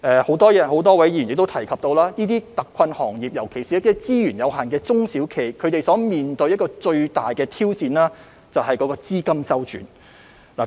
很多位議員提及，這些特困行業，特別是資源有限的中小企，他們面對最大的挑戰就是資金周轉。